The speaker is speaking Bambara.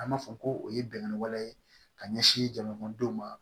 An b'a fɔ ko o ye bɛnkan waleya ye ka ɲɛsin jamanadenw ma